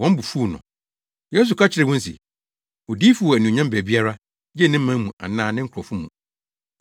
Wɔn bo fuw no. Yesu ka kyerɛɛ wɔn se, “Odiyifo wɔ anuonyam baabiara, gye ne man mu anaa ne nkurɔfo mu!”